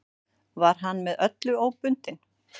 Var hann með öllu óbundinn.